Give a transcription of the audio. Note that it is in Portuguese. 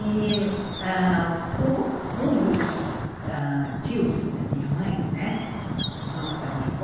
E ãh um um dos tios da minha mãe, né, irmãos da minha avó,